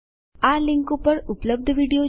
આ લીંક પર ઉપલબ્ધ વિડીયો જુઓ